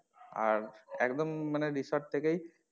আর একদম মানে resort থেকেই,